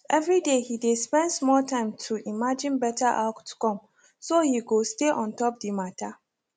every day he dey spend small time to imagine better outcome so he go stay ontop the matter